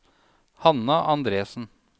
Hanna Andresen